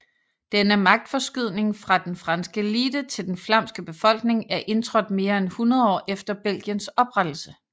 Denne magtforskydning fra den franske elite til den flamske befolkning er indtrådt mere end 100 år efter Belgiens oprettelse